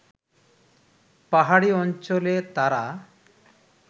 পাহাড়ি অঞ্চলে তারা